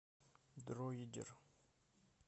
дроидер